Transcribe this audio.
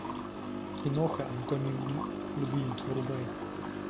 киноха анатомия любви врубай